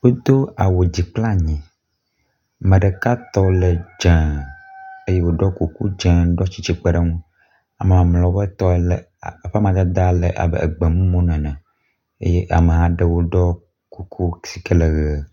wodó awu dzi kple anyi, meɖeka tɔ le dzē eye woɖó kuku dzē ɖɔ tsitsĩ kpeɖeŋu ama mamleawo ƒe tɔ le eƒe amadede le abe gbemumu nene eye amaɖewo ɖɔ kuku sike le ɣe